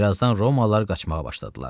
Birazdan Romalılar qaçmağa başladılar.